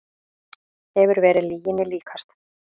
Hefur verið lyginni líkast